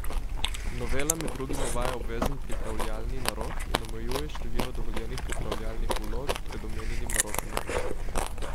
Novela med drugim uvaja obvezen pripravljalni narok in omejuje število dovoljenih pripravljalnih vlog pred omenjenim narokom na dve.